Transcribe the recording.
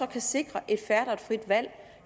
kan sikre et fair og frit valg